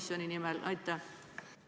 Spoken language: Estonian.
Austatud endine peaminister, sa oled valel teel!